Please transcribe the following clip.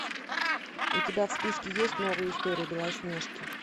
у тебя в списке есть новая история белоснежки